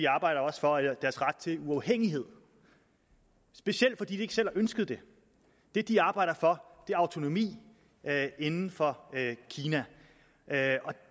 arbejder for deres ret til uafhængighed specielt fordi de ikke selv har ønsket det det de arbejder for er autonomi inden for kina